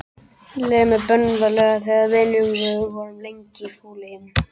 Leið mér bölvanlega þegar við vinir vorum lengi í fúleyjum.